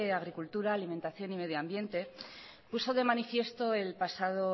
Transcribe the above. agricultura alimentación y medio ambiente puso de manifiesto el pasado